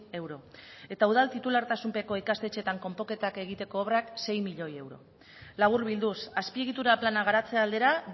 euro eta udal titulartasunpeko ikastetxeetan konponketak egiteko obrak sei miloi euro laburbilduz azpiegitura plana garatze aldera